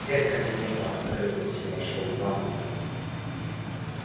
дверь кабинета открылась и вошёл дамблдор